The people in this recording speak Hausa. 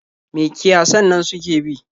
Me kiyasan nan suke bi?